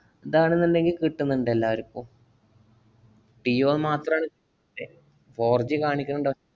ദാണെന്ന് ഇണ്ടെങ്കില്‍ കിട്ടുന്നുണ്ട്‌ എല്ലാര്ക്കും. ജിയോ മാത്രാണ് എ~ fourG കാണിക്കണ് ണ്ട്.